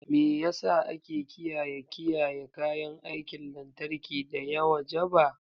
Me yasa ake kiyaye kiyaye kayan aikin lantarki da ya wajaba?